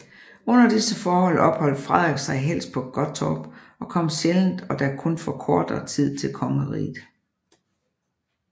Under disse forhold opholdt Frederik sig helst på Gottorp og kom sjældent og da kun for kortere tid til kongeriget